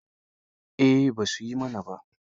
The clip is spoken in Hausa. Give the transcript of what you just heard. Eh ba su yi mana ba.